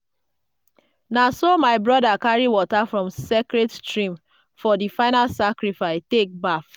na so my broda carry water from sacred stream for di final sacrifice take baff.